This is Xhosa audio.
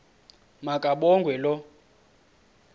ma kabongwe low